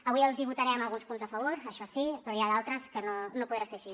avui els votarem alguns punts a favor això sí però n’hi ha d’altres que no podrà ser així